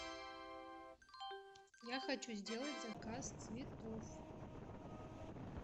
я хочу сделать заказ цветов